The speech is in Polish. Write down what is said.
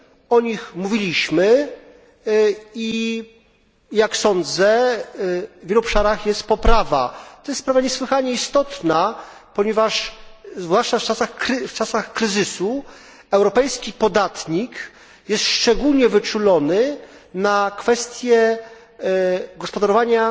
O nich mówiliśmy i jak sądzę w wielu obszarach jest poprawa. To jest sprawa niesłychanie istotna, ponieważ zwłaszcza w czasach kryzysu europejski podatnik jest szczególnie wyczulony na kwestie gospodarowania